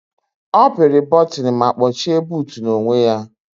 Ọ pịri bọtịnụ ma kpọchie buutu n'onwe ya.